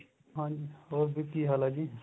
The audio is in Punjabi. ਹਾਂਜੀ ਹੋਰ ਜੀ ਕੀ ਹਾਲ ਏ ਜੀ